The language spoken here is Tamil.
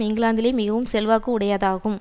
இங்கிலாந்திலேயே மிகவும் செல்வாக்கு உடையதாகும்